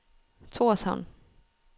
Torshavn